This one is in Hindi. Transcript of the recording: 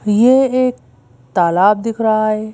ये एक तालाब दिख रहा है।